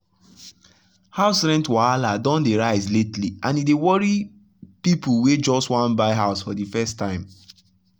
house rent wahala don dey rise lately and e dey worry people wey just wan buy house for the first time.